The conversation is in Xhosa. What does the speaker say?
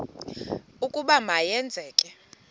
ukuba ma yenzeke